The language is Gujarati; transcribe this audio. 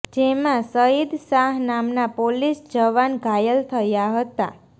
જેમા સઈદ શાહ નામના પોલીસ જવાન ઘાયલ થયા હતા